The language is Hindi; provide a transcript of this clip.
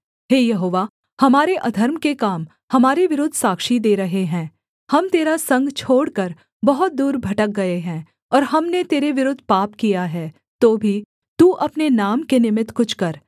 हे यहोवा हमारे अधर्म के काम हमारे विरुद्ध साक्षी दे रहे हैं हम तेरा संग छोड़कर बहुत दूर भटक गए हैं और हमने तेरे विरुद्ध पाप किया है तो भी तू अपने नाम के निमित्त कुछ कर